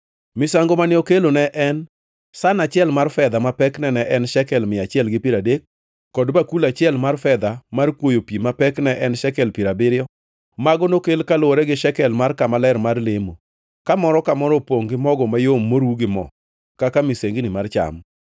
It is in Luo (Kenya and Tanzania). Misango mane okelo ne en san achiel mar fedha ma pekne ne en shekel mia achiel gi piero adek, kod bakul achiel mar fedha mar kwoyo pi ma pekne en shekel piero abiriyo. Mago nokel kaluwore gi shekel mar kama ler mar lemo, ka moro ka moro opongʼ gi mogo mayom moru gi mo kaka misango mar cham;